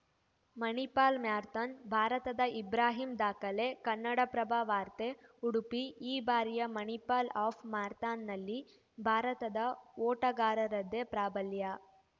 Manipal marathon ಭಾರತದ ಇಬ್ರಾಹಿಂ ದಾಖಲೆ ಕನ್ನಡಪ್ರಭ ವಾರ್ತೆ ಉಡುಪಿ ಈ ಬಾರಿಯ ಮಣಿಪಾಲ್‌ ಹಾಫ್‌ ಮ್ಯಾರಥಾನ್‌ನಲ್ಲಿ ಭಾರತದ ಓಟಗಾರರದ್ದೇ ಪ್ರಾಬಲ್ಯ